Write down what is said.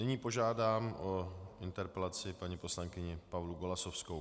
Nyní požádám o interpelaci paní poslankyni Pavlu Golasowskou.